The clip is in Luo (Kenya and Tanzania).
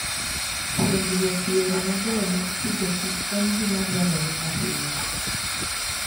Puonjruok yore mabeyo mag pidhokich en gima dwarore ahinya.